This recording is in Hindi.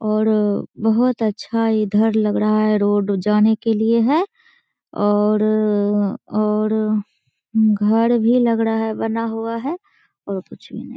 और बोहोत अच्छा इधर लग रहा है। रोड जाने के लिए है। और और घर भी लग रहा है बना हुआ है। और कुछ भी नही।